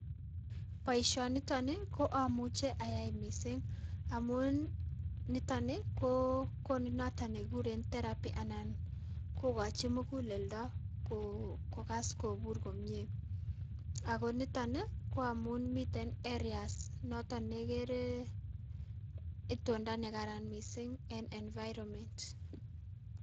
Boisionito nii ko amuche ayai mising amun nito ni koo konu noto nekikuren Therapy anan kokochin mukulelto kokas kopur komie, ako nito ni koamun miten areas noto nekere itondo nekaran mising en environment.